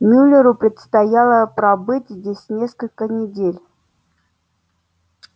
мюллеру предстояло пробыть здесь несколько недель